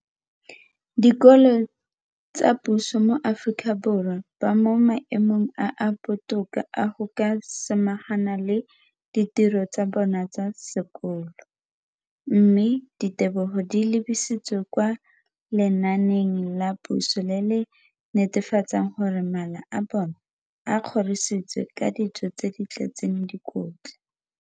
Dikolo tsa puso mo Aforika Borwa ba mo maemong a a botoka a go ka samagana le ditiro tsa bona tsa sekolo, mme ditebogo di lebisiwa kwa lenaaneng la puso le le netefatsang gore mala a bona a kgorisitswe ka dijo tse di tletseng dikotla.